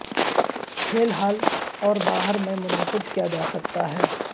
کھیل ہال اور باہر میں منعقد کیا جا سکتا ہے